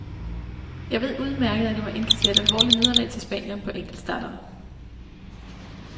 Jeg ved udmærket, at jeg må indkassere et alvorligt nederlag til spanieren på enkeltstarterne.